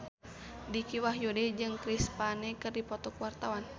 Dicky Wahyudi jeung Chris Pane keur dipoto ku wartawan